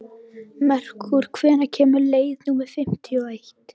Merkúr, hvenær kemur leið númer fimmtíu og eitt?